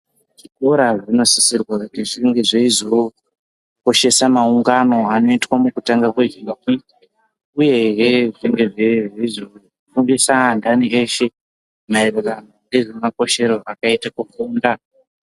Zvikoro zvinosisirwe kuti zvinge zveizokoshesa maungano anoitwa mukutanga kwezuwa...uyehe zvinge zveizofundisa antani eshe ,maererano ngezvemakoshero akaite kufunda.